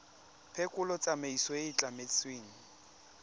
phekolo tsamaiso e e tlametsweng